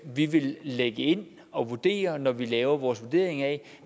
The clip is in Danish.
vi vil lægge ind og vurdere efter når vi laver vores vurdering af